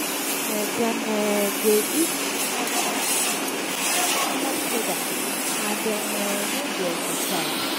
um dem um dey eat too much junk food drink too much soda and dem um no dey exercise.